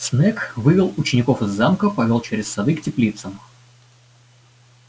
снегг вывел учеников из замка повёл через сады к теплицам